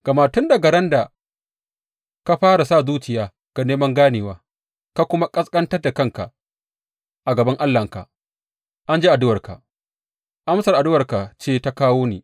Gama tun daga ran da ka fara sa zuciya ga neman ganewa, ka kuma ƙasƙantar da kanka a gaban Allahnka, an ji addu’arka, amsar addu’arka ce ta kawo ni.